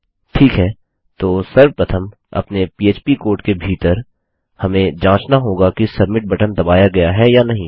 ठीक है तो सर्वप्रथम अपने पह्प कोड के भीतर हमें जाँचना होगा कि सबमिट बटन दबाया गया है या नहीं